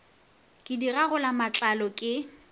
ke di gagola matlalo ke